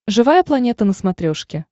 живая планета на смотрешке